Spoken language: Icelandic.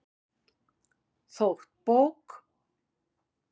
Þótt bók